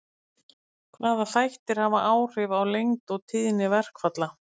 Hvaða þættir hafa áhrif á lengd og tíðni verkfalla?